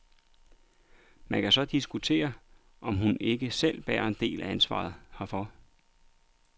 Man kan så diskutere, om hun mon ikke selv bærer en del af ansvaret herfor.